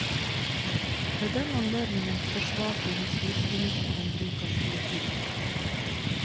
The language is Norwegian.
Ved den anledningen forsvarte justisministeren bruk av politi.